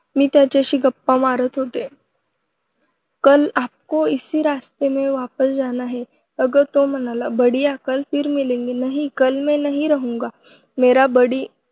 मी त्याच्याशी गप्पा मारत होते. कल आपको इसी रास्ते से वापस जाना है. असं तो म्हणाला. बढ़िया, कल फिर मिलेंगे. नहीं कल मैं नहीं रहूँगा. मेरा बड़ी